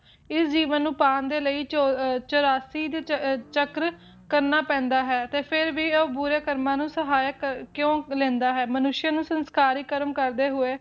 ਇਸ ਜੀਵਨ ਨੂੰ ਪਾਉਣ ਦੇ ਲਈ ਚੂ ਚੁਰਾਸੀ ਚਕ੍ਰ ਚੱਕਰ ਕਰਨਾ ਪੈਂਦਾ ਹੈ ਤੇ ਫਿਰ ਵੀ ਉਹ ਬੁਰੇ ਕਰਮਾਂ ਨੂੰ ਸਹਾਇਕ ਕਿਉਂ ਲੈਂਦਾ ਹੈ ਮਾਨੁਸ਼ਯ ਨੂੰ ਸੰਸਕਾਰੀਕ ਕਰਮ ਕਰਦੇ ਹੋਏ